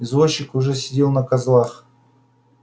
извозчик уже сидел на козлах